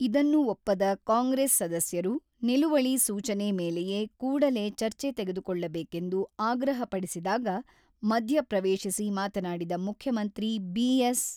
ಇದನ್ನು ಒಪ್ಪದ ಕಾಂಗ್ರೆಸ್ ಸದಸ್ಯರು ನಿಲುವಳಿ ಸೂಚನೆ ಮೇಲೆಯೇ ಕೂಡಲೇ ಚರ್ಚೆ ತೆಗೆದುಕೊಳ್ಳಬೇಕೆಂದು ಆಗ್ರಹಪಡಿಸಿದಾಗ, ಮಧ್ಯ ಪ್ರವೇಶಿಸಿ ಮಾತನಾಡಿದ ಮುಖ್ಯಮಂತ್ರಿ ಬಿ.ಎಸ್.